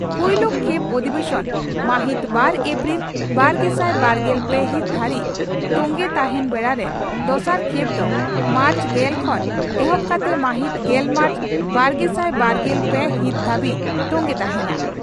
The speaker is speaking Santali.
ᱯᱩᱭᱞᱩ ᱠᱷᱮᱯ ᱚᱫᱷᱤᱵᱮᱥᱚᱱ ᱢᱟᱦᱤᱛ ᱵᱟᱨ ᱮᱯᱨᱤᱞ ᱵᱟᱨᱜᱮᱥᱟᱭ ᱵᱟᱨᱜᱮᱞ ᱯᱮ ᱦᱤᱛ ᱫᱷᱟᱹᱨᱤᱡ ᱛᱚᱝᱜᱮ ᱛᱟᱦᱮᱸᱱ ᱵᱮᱲᱟᱨᱮ ᱫᱚᱥᱟᱨ ᱠᱷᱮᱯ ᱫᱚ ᱢᱟᱨᱪ ᱜᱮᱞ ᱠᱷᱚᱱ ᱮᱦᱚᱵ ᱠᱟᱛᱮ ᱢᱟᱦᱤᱛ ᱜᱮᱞ ᱢᱟᱨᱪ ᱵᱟᱨᱜᱮᱥᱟᱭ ᱵᱟᱨᱜᱮᱞ ᱯᱮ ᱦᱤᱛ ᱫᱷᱟᱹᱵᱤᱡ ᱛᱚᱝᱜᱮ ᱛᱟᱦᱮᱸᱱᱟ ᱾